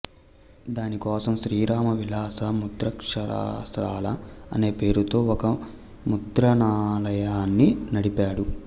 దానికోసం శ్రీరామ విలాస ముద్రాక్షరశాల అనే పేరుతో ఒక ముద్రణాలయాన్ని నడిపాడు